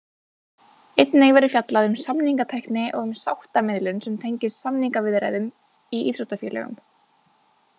Einnig verður fjallað um samningatækni og um sáttamiðlun sem tengist samningaviðræðum í íþróttafélögum.